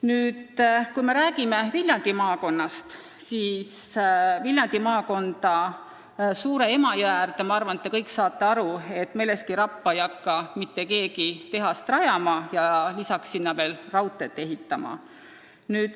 Nüüd, kui me räägime Viljandi maakonnast, siis küllap te kõik saate aru, et Viljandi maakonda Suur-Emajõe äärde Meleski rappa ei hakka mitte keegi tehast ehitama ja lisaks sinna veel raudteed rajama.